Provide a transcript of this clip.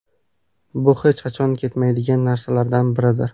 Bu hech qachon ketmaydigan narsalardan biridir.